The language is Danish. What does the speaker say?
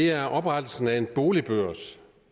er oprettelsen af en boligbørs